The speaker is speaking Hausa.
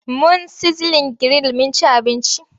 Mun sizlin giril mun ci abinci.